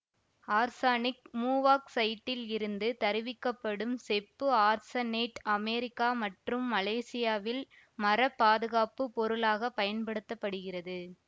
arsenic மூவாக்சைட்டில் இருந்து தருவிக்கப்படும் செப்பு ஆர்சனேட்டு அமெரிக்கா மற்றும் மலேசியாவில் மரப்பாதுகாப்புப் பொருளாக பயன்படுத்த படுகிறது